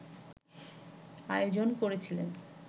আয়োজন করেছিলেন